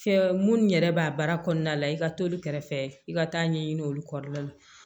Fɛ munnu yɛrɛ b'a baara kɔnɔna la i ka t'olu kɛrɛfɛ i ka taa ɲɛɲini olu kɔda la